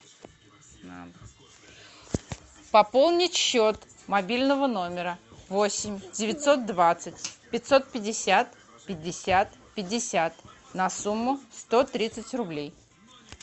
пополнить счет мобильного номера восемь девятьсот двадцать пятьсот пятьдесят пятьдесят пятьдесят на сумму сто тридцать рублей